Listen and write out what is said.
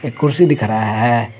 कुर्सी दिख रहा है।